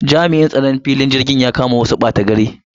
Jami'in tsaron filin jirgin ya kama wasu ɓatagari.